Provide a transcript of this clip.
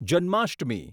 Janmashtami